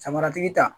Samaratigi ta